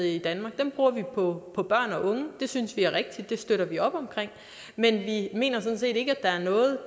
i danmark dem bruger vi på på børn og unge det synes vi er rigtigt det støtter vi op omkring men vi mener sådan set ikke at der er noget